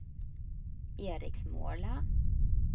Eriksmåla